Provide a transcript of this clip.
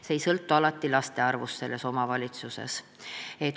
See ei sõltu alati laste arvust omavalitsuses.